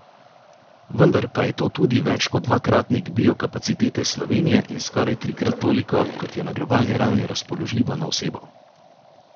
Vendar pa je to tudi več kot dvakratnik biokapacitete Slovenije in skoraj trikrat toliko, kot je na globalni ravni razpoložljivo na osebo.